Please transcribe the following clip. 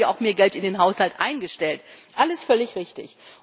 Darum haben wir auch mehr Geld in den Haushalt eingestellt alles völlig richtig.